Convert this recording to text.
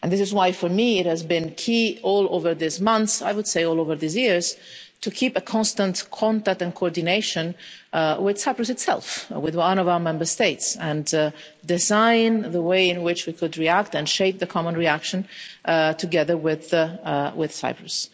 And this is why, for me, it has been key all over these months I would say all over these years to keep a constant contact and coordination with Cyprus itself, with one of our Member States, and design a way in which we could react and shape a common reaction together with Cyprus.